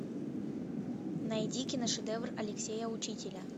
найди киношедевр алексея учителя